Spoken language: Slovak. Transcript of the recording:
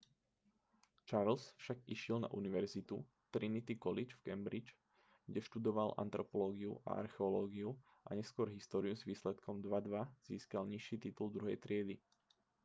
charles však išiel na univerzitu trinity college v cambridge kde študoval antropológiu a archeológiu a neskôr históriu s výsledkom 2:2 získal nižší titul druhej triedy